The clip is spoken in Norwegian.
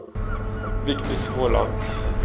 Vigdis Håland